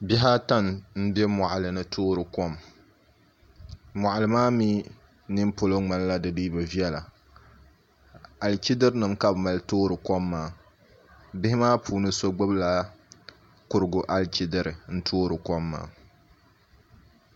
Bihi ata n bɛ moɣali ni n toori kok moɣali maa mii nin polo ŋmanila di dii bi viɛla alichidiri nim ka bi mali toori kom maa bihi maa puuni so gbubila kurigu alichidiri n toori kom maa